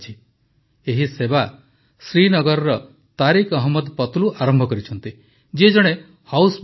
ଏହି ସେବା ଶ୍ରୀନଗରର ତାରିକ୍ ଅହମ୍ମଦ ପତଲୁ ଆରମ୍ଭ କରିଛନ୍ତି ଯିଏ ଜଣେ ହାଉସବୋଟ୍ ମାଲିକ